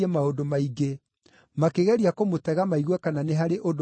makĩgeria kũmũtega maigue kana nĩ harĩ ũndũ mũũrũ angĩaria.